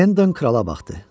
Hendon krala baxdı.